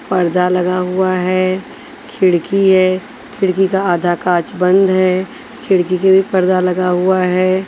पर्दा लगा हुआ है खिड़की है खिड़की का आधा कांच बंद है खिड़की के भी पर्दा लगा हुआ है।